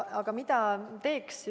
Aga mida võiks teha?